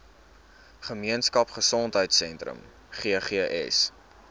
gemeenskap gesondheidsentrum ggs